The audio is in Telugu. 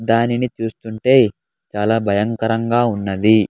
దానిని చూస్తుంటే చాలా భయంకరంగా ఉన్నది.